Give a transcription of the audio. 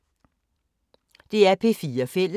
DR P4 Fælles